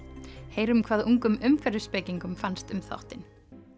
heyrum hvað ungum fannst um þáttinn